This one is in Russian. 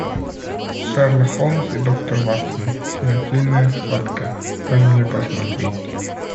шерлок холмс и доктор ватсон смертельная схватка дай мне посмотреть